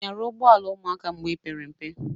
I nyara ụgbụọala ụmụaka mgbe ipere mpe?